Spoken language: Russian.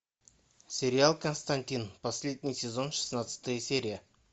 сериал константин последний сезон шестнадцатая серия